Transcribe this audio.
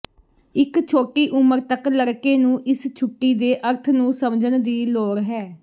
ਇੱਕ ਛੋਟੀ ਉਮਰ ਤੱਕ ਲੜਕੇ ਨੂੰ ਇਸ ਛੁੱਟੀ ਦੇ ਅਰਥ ਨੂੰ ਸਮਝਣ ਦੀ ਲੋੜ ਹੈ